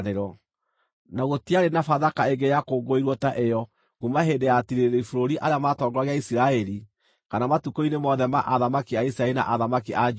Na gũtiarĩ na Bathaka ĩngĩ yakũngũĩirwo ta ĩyo kuuma hĩndĩ ya atiirĩrĩri bũrũri arĩa matongoragia Isiraeli kana matukũ-inĩ mothe ma athamaki a Isiraeli na athamaki a Juda.